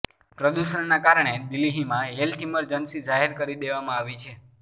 પ્રદૂષણના કારણે દિલ્હીમાં હેલ્થ ઈમરજન્સી જાહેર કરી દેવામાં આવી છે